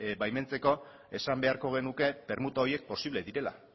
baimentzeko esan beharko genuke permuta horiek posible direla